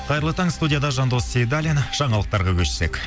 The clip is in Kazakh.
қайырлы таң студияда жандос сейдаллин жаңалықтарға көшсек